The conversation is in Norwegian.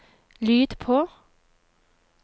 lyd på